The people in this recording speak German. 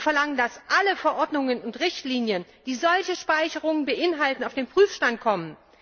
Wir verlangen, dass alle Verordnungen und Richtlinien, die solche Speicherungen beinhalten, auf den Prüfstand kommen.